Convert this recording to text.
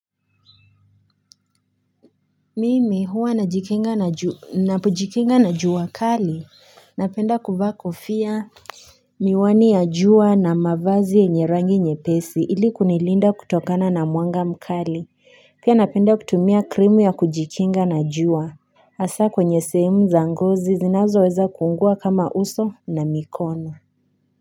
Mimi huwa najikinga na jua najikinga na jua kali napenda kuvaa kofia Miwani ya jua na mavazi yenye rangi nyepesi ili kunilinda kutokana na mwanga mkali pia napenda kutumia krimu ya kujikinga na jua hasa kwenye sehemu za ngozi zinazoweza kuungua kama uso na mikono.